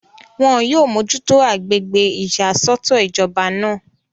wọn yóò mójútó agbègbè ìyàsọ́tọ̀ ìjọba náà